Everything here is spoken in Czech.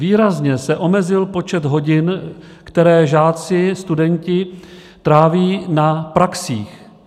Výrazně se omezil počet hodin, které žáci, studenti tráví na praxích.